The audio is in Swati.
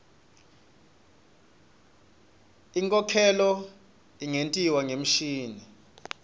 inkhokhelo ingentiwa ngemishini